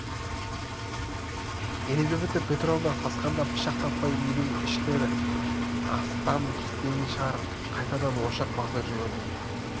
елизавета петровна сасқанда пышақ таппай үйдің ішін астан-кестеңін шығарып қайтадан ошақ басына жүгірді